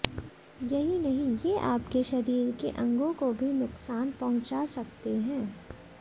यही नहीं ये आप के शरीर के अंगों को भी नुक्सान पंहुचा सकते हैं